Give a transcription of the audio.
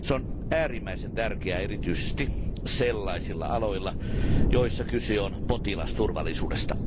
Se on äärimmäisen tärkeä erityisesti sellaisilla aloilla, joilla kyse on potilasturvallisuudesta.